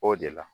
O de la